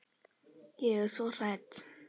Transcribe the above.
Ég er svo hrædd.